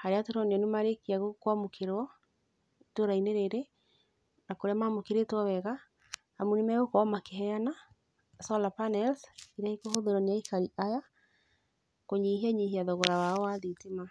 harĩa tũronio nĩ marĩkia kũamũkĩrwo ĩtũũra-inĩ rĩrĩ na kũrĩa mamũkĩrĩtwo wega amu nĩ megũkorwo makĩheana solar panels iria ikũhũthĩrwo nĩ aikari aya, kũnyihianyihia thogora wao wa thitima.